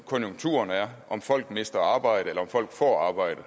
konjunkturen er om folk mister et arbejde eller om folk får arbejde